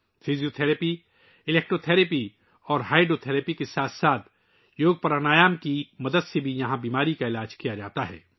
physio therapy, electro therapy اور hydro therapy کے ساتھ ساتھ یہاں یوگاپرانایام کی مدد سے بھی بیماریوں کا علاج کیا جاتا ہے